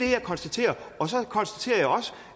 jeg konstaterer og så konstaterer jeg også